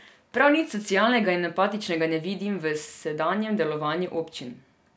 Prav nič socialnega in empatičnega ne vidim v sedanjem delovanju občin.